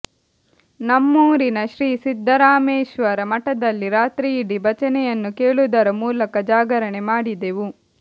ನಮ್ಮೂರಿನ ಶ್ರೀ ಸಿದ್ದರಾಮೇಶ್ವರ ಮಠದಲ್ಲಿ ರಾತ್ರಿಯಿಡಿ ಭಜನೆಯನ್ನು ಕೇಳುವುದರ ಮೂಲಕ ಜಾಗರಣೆ ಮಾಡಿದೆವು